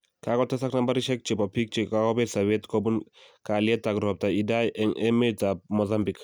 Kagotesak nambarishek chebo bik chekagobet sabet kobun kalielet ak ropta Idai eng emet ap Mozambique